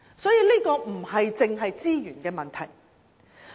因此，這並非只是資源的問題。